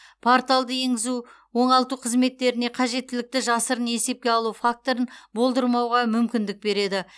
порталды енгізу оңалту қызметтеріне қажеттілікті жасырын есепке алу факторын болдырмауға мүмкіндік береді